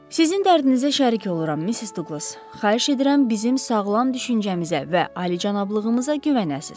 Sizin dərdinizə şərik oluram, Missis Duqlas, xahiş edirəm bizim sağlam düşüncəmizə və alicənablığımıza güvənəsiz.